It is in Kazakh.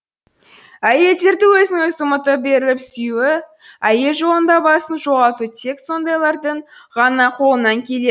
әйелдерді өзін өзі ұмытып беріліп сүю әйел жолында басын жоғалту тек сондайлардың ғана қолынан келеді